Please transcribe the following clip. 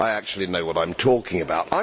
I actually know what I am talking about.